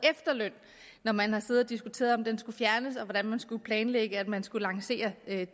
efterløn når man har siddet og diskuteret om den skulle fjernes og hvordan man skulle planlægge at man skulle lancere